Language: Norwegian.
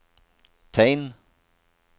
tegn